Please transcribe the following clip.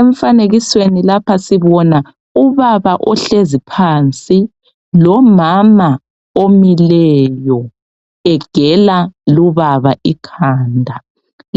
Emfanekisweni lapha sibona ubaba ohlezi phansi lomama omileyo egela lubaba ikhanda